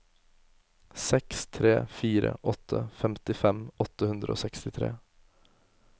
seks tre fire åtte femtifem åtte hundre og sekstitre